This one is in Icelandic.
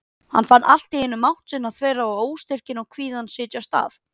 Hann fann allt í einu mátt sinn þverra og óstyrkinn og kvíðann setjast að.